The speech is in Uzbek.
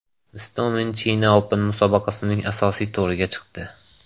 Istomin China Open musobaqasining asosiy to‘riga chiqdi.